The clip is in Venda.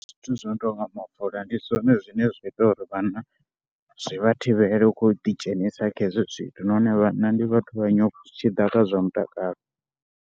Zwithu zwi no tou nga mafola ndi zwone zwine zwa ita uri vhanna zwi vha thivhele u khou ḓidzhenisa kha hezwo zwithu nahone vhanna ndi vhathu vha nyofho zwi tshi ḓa kha zwa mutakalo.